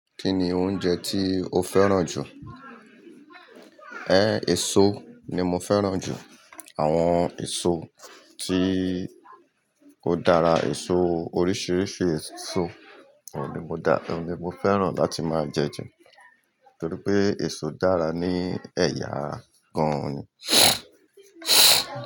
Kí ni oúnjẹ tí o fẹ́ràn jù? E eso ni mo fẹ́ràn jù. Àwọn eso tí ó dára, eso oríṣiríṣi eso oun ní mo dá, oun ní mo fẹ́ràn láti máa jẹ ju torí pé eso dára ní ẹ̀yà ara gan ni.